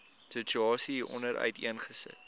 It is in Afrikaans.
situasie hieronder uiteengesit